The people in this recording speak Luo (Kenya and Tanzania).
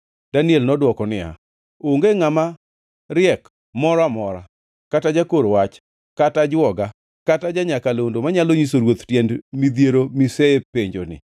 Daniel nodwoko niya, “Onge ngʼama riek moro amora, kata jakor wach kata ajwoga kata ja-nyakalondo manyalo nyiso ruoth tiend midhiero mosepenjoni,